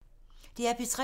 DR P3